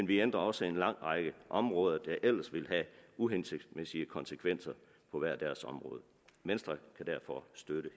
vi ændrer også en lang række områder der ellers ville have uhensigtsmæssige konsekvenser på hver deres område venstre kan derfor støtte